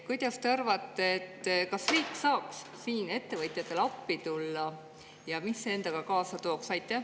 Kuidas te arvate, kas riik saaks siin ettevõtjatele appi tulla ja mis see endaga kaasa tooks?